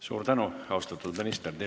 Suur tänu, austatud minister!